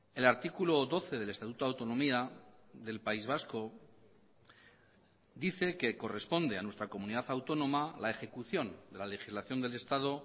el artículo doce del estatuto de autonomía del país vasco dice que corresponde a nuestra comunidad autónoma la ejecución de la legislación del estado